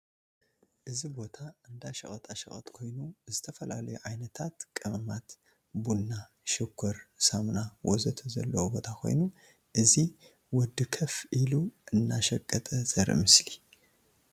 እዚ ቦታ እንዳ ሽቀጣ ሸቀጥ ኮይኑ ዝተፈላለዩ ዓይነታት ቀመማት፣ ቡና ፣ሽኮር፣ ሳሙና፣ ወዘተ ዘለዎ ቦታ ኮይኑ እዚ ወዲ ከፍ ኢሉ አናሽቀጠ ዘርኢ ምስሊ ።